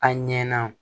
A ɲɛ na